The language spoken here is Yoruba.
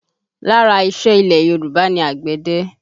Lára ìṣe ilẹ̀ Yorùbá ni àgbẹ̀dẹ